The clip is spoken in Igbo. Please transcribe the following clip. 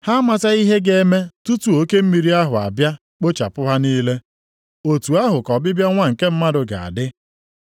Ha amataghị ihe ga-eme tutu oke mmiri ahụ abịa kpochapụ ha niile. Otu ahụ ka ọbịbịa Nwa nke Mmadụ ga-adị.